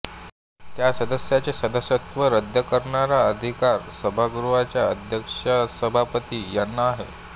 त्या सदस्याचे सदस्यत्व रद्द करण्याचा अधिकार सभागृहाचा अध्यक्षसभापती यांना आहे